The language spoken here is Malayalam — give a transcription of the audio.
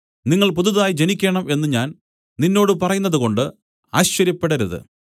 നിങ്ങൾ പുതുതായി ജനിക്കേണം എന്നു ഞാൻ നിന്നോട് പറയുന്നതുകൊണ്ട് ആശ്ചര്യപ്പെടരുത്